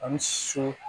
An bɛ so